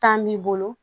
Tan b'i bolo